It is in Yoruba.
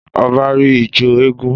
Ọba rí ijó eégún